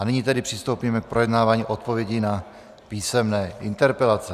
A nyní tedy přistoupíme k projednávání odpovědí na písemné interpelace.